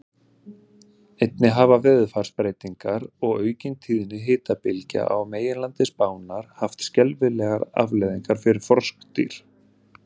Einnig hafa veðurfarsbreytingar og aukin tíðni hitabylgja á meginlandi Spánar haft skelfilegar afleiðingar fyrir froskdýr.